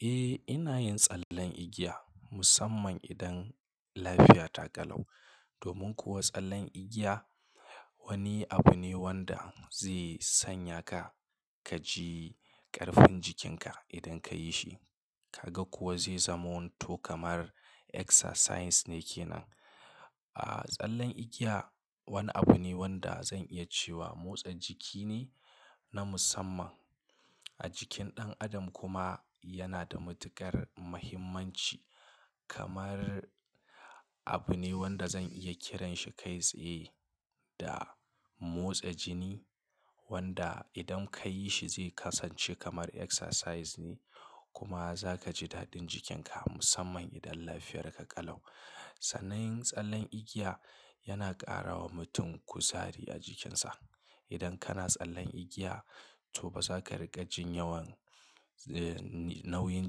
Eh, ina yin tsallen igiya musamman idan lafiya ta ƙalau. Domin kuwa tsallen igiya wani abu ne wanda zai sanya ka ka ji ƙarfin jikinka idan ka yi shi. Ka ga kuwa zai zaman to kamar exercise ne ke nan. Aaa, tsallen igiya wani abu ne wanda zan iya cewa motsa jiki ne na musamman a jikin ɗan adam kuma yana da matuƙar mahimmanci kamar abu ne wanda zan iya kiranshi kai tsaye da-- motsa jini wanda idan ka yi shi zai kasance kamar exercise ne kuma za ka ji daɗin jikinka musamman idan lafiyarka ƙalau. Sannan yin tsallen igiya yana ƙara wa mutum kuzari a jikinsa. Idan kana tsallen igiya to ba za ka riƙa jin yawan, eh, nauyin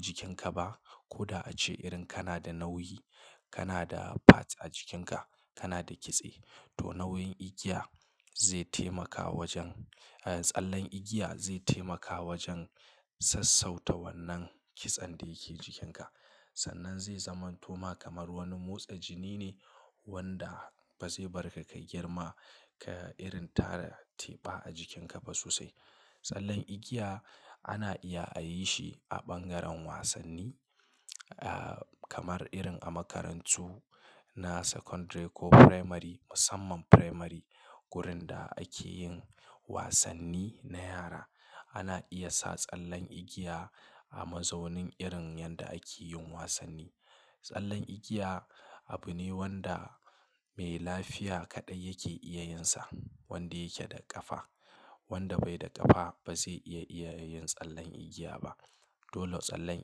jikinka ba koda a ce irin kana da nauyi, kana da fats a jikinka, kana da kitse to nauyin igiya, ze taimaka wajen, ah, tsallen igiya zai taimaka wajen sassauta wannan kitsen da yake jikinka. Sannan zai zamanto ma kamar wani motsa jini ne wanda ba zai barka ka girma ka irin tara teɓa a jikinka ba sosai. Tsallen igiya ana iya a yi shi a ɓangaren wasanni, aaaa kamar irin a makarantu na secondary ko primary musamman primary. Gurin da ake yin wasanni na yara. Ana iya sa tsallen igiya a mazaunin irin yanda ake yin wasanni. Tsallen igiya abu ne wanda mai lafiya kaɗai yake iya yin sa, wanda yake da ƙafa. Wanda bai da ƙafa ba zai iya, iya yin tsallen igiya ba. Dolle tsallen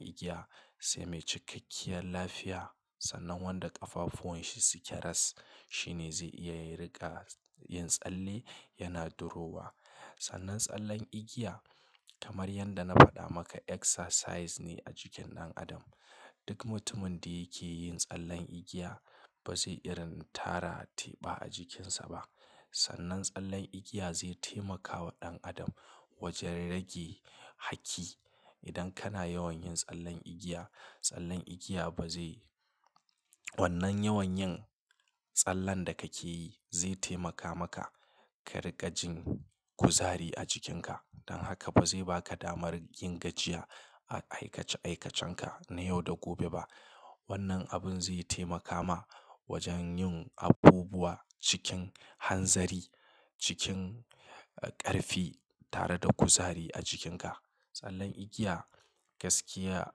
igiya sai mai cikakkiyar lafiya sannan wanda ƙafafuwan shi suke ras, shi ne zai iya riƙa yin tsalle yana durowa. Sannan tsallen igiya kamar yadda na faɗa maka exercise ne a jikin ɗan adam. Duk mutumin da yake yin tsallen igiya ba zai irin tara teɓa a jikinsa ba. Sannan tsallen igiya zai taimaka wa ɗan adam wajen rage haki. Idan kana yawan yin tsallen igiya, tsallen igiya ba zai--, wannan yawan yin tsallen da kake yi zai taimaka maka ka riƙa jin kuzari a jikin ka. Dan haka ba zai baka damar yin gajiya a aikace-aikacenka na yau da gobe ba. Wannan abun zai taimaka ma wajen yin abubuwa cikin hanzari, cikin ƙarfi tare da kuzari a jikinka. Tsallen igiya gaskiya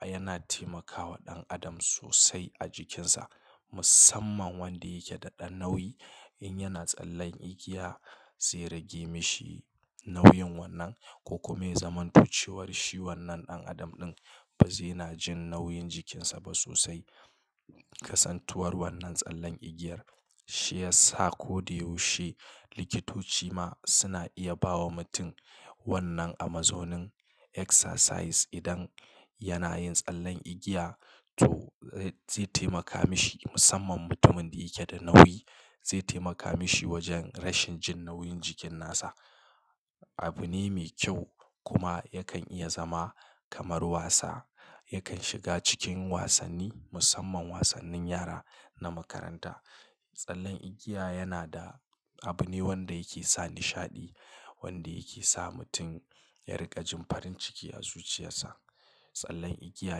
yana taimaka wa ɗan adam sosai a jikinsa musamman wanda yake da ɗan nauyi. In yana tsallen igiya zai rage mishi nauyin wannan ko kuma ya zaman tucewar shi wannan ɗan adam ɗin ba zai na jin nauyin jikinsa ba sosai. Kasantuwar wannan tsallen igiyar shi ya sa ko da yaushe likitoci ma suna iya bawa mutum wannan a mazaunin exercise idan-- yana yin tsallen igiya to zai taimaka mishi musamman mutumin da yake da nauyi zai taimaka mishi wajen rashin jin nauyin jikin nasa. Abu ne mai kyau kuma yakan iya zama kamar wasa. Yakan shiga cikin wasanni musamman wasannin yara na makaranta. Tsallen igiya yana da abu ne wanda yake sa nishaɗi, wanda yake sa mutum ya riƙa jin farin ciki a zuciyarsa. Tsallen igiya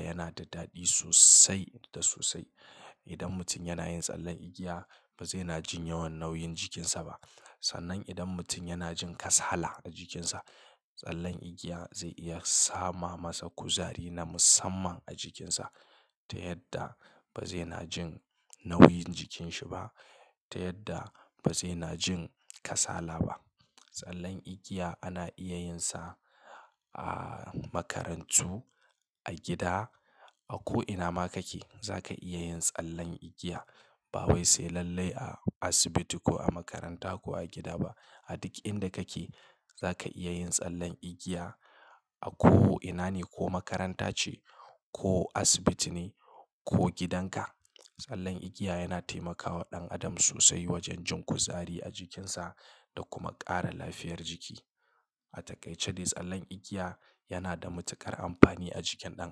yana da daɗi sosai da sosai. Idan mutum yana yin tsallen igiya ba zai na jin yawan nauyin jikinsa ba. Sannan idan mutum yana jin kasala a jikinsa, tsallen igiya zai iya sama masa kuzari na musamman a jikinsa ta yadda ba zai na jin nauyin jikinsa ba, ta yadda ba zai na jin kasala ba. Tsallen igiya ana iya yin sa aaaa makarantu, a gida, a ko ina ma kake, za ka iya yin tsallen igiya. Ba wai sai lallai a asibiti ko a makaranta ko a gida ba. A duk inda kake za ka iya yin tsallen igiya a ko ina ne ko makaranta ce ko asibiti ne ko gidanka. Tsallen igiya yana taimaka wa ɗan adam sosai wajen jin kuzari a jikinsa da kuma ƙara lafiyar jiki. A takaice dai tsallen igiya yana da matuƙar amfani a jikin ɗan a-